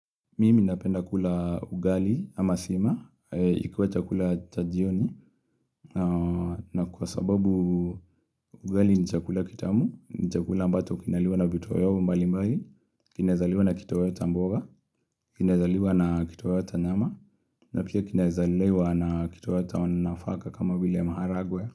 Mimi napenda kula ugali ama sima, ikuwe chakula cha jioni. Na kwa sababu ugali nichakula kitamu, nichakula ambacho kinaliwa na vitoweo mbalimbali kinezaliwa na kitoweo cha mboga, kinaezaliwa na kitoweo cha nyama na pia kinezaliwa na kitoweo cha nafaka kama vile maharagwe.